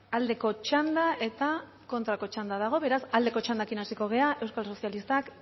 aldeko txanda eta kontrako txanda dago beraz aldeko txandarekin hasiko gara euskal sozialistak